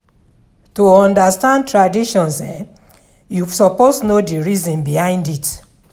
To understand traditions you suppose know the reason behind it